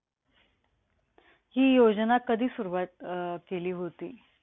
हि योजना कधी सुरुवात अं केली होती?